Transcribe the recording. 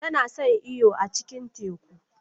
Tana son yin iyo a cikin teku.